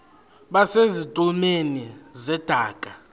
base zitulmeni zedaka